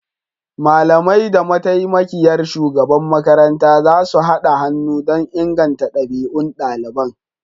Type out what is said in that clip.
Malamai da mataimakiyar shugaban makaranta zasu haɗa hannu don inganta ɗabi'un ɗaliban